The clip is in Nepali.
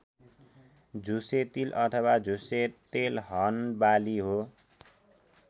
झुसे तिल अथवा झुसे तेलहन बाली हो।